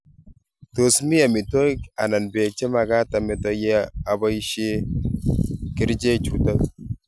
Tos mii amitwogik anan beek chemagaat ameto ye amii aboishee kercheek chutok.